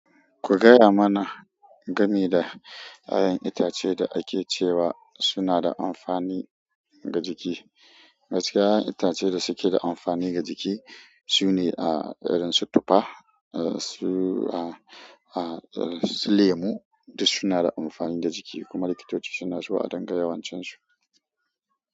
Ku gaya mana game da ƴaƴan itace da ake cewa suna da amfani ga jiki. Gaskiya ƴaƴan itace da suke da amfani ga jiki, su ne ah irin su tufa, ah su ah ah lemu duk su na da amfani da jiki, kuma likitoci suna zuwa dangane wan cin su.